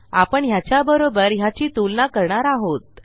आपण ह्याच्याबरोबर ह्याची तुलना करणार आहोत